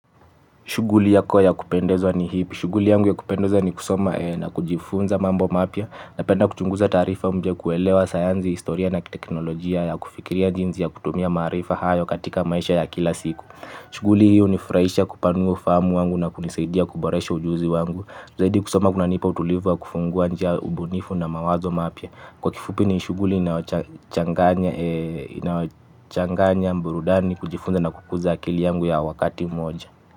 Shuguli yako ya kupendezwa ni hipi. Shuguli yangu ya kupendoza ni kusoma na kujifunza mambo mapia napenda kuchunguza taarifa kuelewa sayanzi, historia na teknolojia ya kufikiria jinzi ya kutumia maarifa hayo katika maisha ya kila siku. Shuguli hi uni furaisha kupanua ufaamu wangu na kunisaidia kuboresha ujuzi wangu. Zaidi kusoma kuna nipa utulivu ya kufungua njia ubunifu na mawazo mapia. Kwa kifupi ni shuguli inayochanganya burudani kujifunza na kukuza akili yangu kwa wakati mmoja.